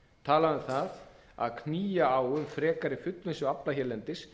talað um það að knýja á um frekari fullvinnslu afla hérlendis